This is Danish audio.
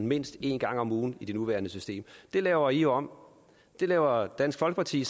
mindst en gang om ugen i det nuværende system det laver i om det laver dansk folkeparti